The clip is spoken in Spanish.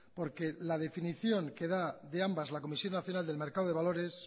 porque la definición que da de ambas la comisión nacional del mercado de valores